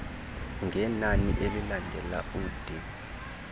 ngenani elilandela ud